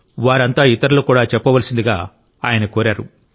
వారంతా ఇతరులకు కూడా చెప్పవలసిందిగా ఆయన కోరారు